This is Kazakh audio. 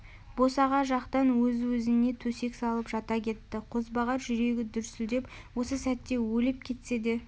босаға жақтан өзі өзіне төсек салып жата кетті қозбағар жүрегі дүрсілдеп осы сәт өліп кетсе де